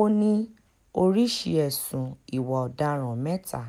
ó ní oríṣìí ẹ̀sùn ìwà ọ̀daràn mẹ́ta